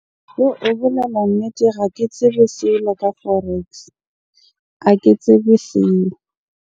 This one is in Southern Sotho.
Ho bolela nnete ga ke tsebe selo ka forex. Ha ke tsebe selo.